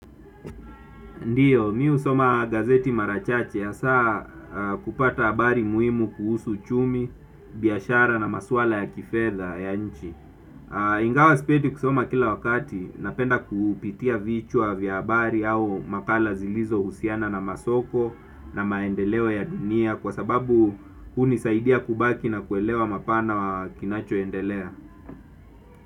Ndiyo mimi husoma gazeti mara chache hasa kupata habari muhimu kuhusu uchumi biashara na maswala ya kifedha ya nchi. Ingawa sipendi kusoma kila wakati napenda kupitia vichwa vya habari au makala zilizohusiana na masoko na maendeleo ya dunia kwa sababu hunisaidia kubaki na kuelewa mapana wa kinachoendelea.